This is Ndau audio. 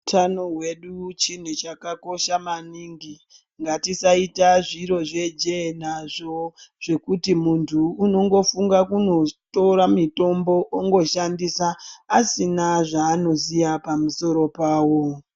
Utano hwedu chinhu chakakosha maningi ngatisaite zviro zvejee nazvo zvekuti muntu unongofunga kunotora mutombo otoshandisa asina zvaanoziya pamusoro pawo.